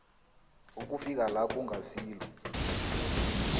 ukufika la kungasilo